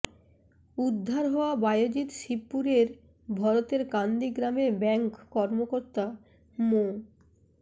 উদ্ধার হওয়া বায়েজিদ শিবপুরের ভরতেরকান্দি গ্রামের ব্যাংক কর্মকর্তা মো